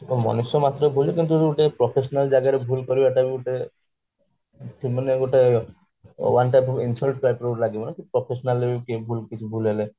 ମଣିଷ ମାତ୍ରକେ ଭୁଲ କିନ୍ତୁ ଯୋଉ ଗୋଟେ professional ଜାଗାରେ ବି ଗୋଟେ ଭୁଲ କରିବା ଟା ବି ଗୋଟେ ମାନେ ଗୋଟେ one type of insult type ର ଲାଗିବ ନା professional ରେ କିଛି ଭୁଲ ହେଲେ